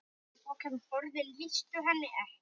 Orðin lýstu henni ekki.